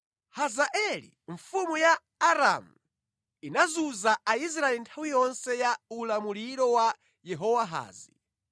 Hazaeli mfumu ya Aramu inazunza Aisraeli nthawi yonse ya ulamuliro wa Yehowahazi.